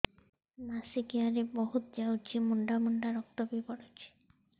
ମାସିକିଆ ରେ ବହୁତ ଯାଉଛି ମୁଣ୍ଡା ମୁଣ୍ଡା ରକ୍ତ ବି ପଡୁଛି